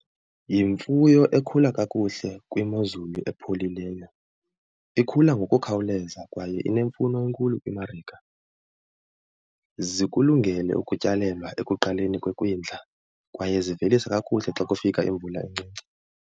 Yimfuyo ekhula kakuhle kwimozulu epholileyo. Ikhula ngokukhawuleza kwaye inemfuno enkulu kwimarika. Zikulungele ukutyalelwa ekuqaleni kwekwindla kwaye zivelisa kakuhle xa kufika imvula encinci.